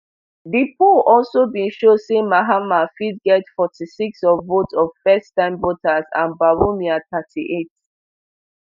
di poll also bin show say mahama fit get forty-six of votes of firsttime voters and bawumia thirty-eight